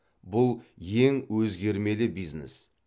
бұл ең өзгермелі бизнес